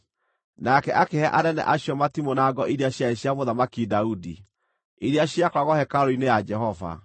Nake akĩhe anene acio matimũ na ngo iria ciarĩ cia Mũthamaki Daudi, iria ciakoragwo hekarũ-inĩ ya Jehova.